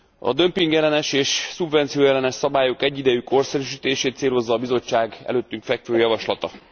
A dömpingellenes és szubvencióellenes szabályok egyidejű korszerűsítését célozza a Bizottság előttünk fekvő javaslata.